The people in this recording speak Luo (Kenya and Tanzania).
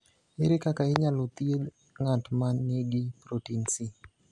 Ere kaka inyalo thieth ng’at ma nigi protin C?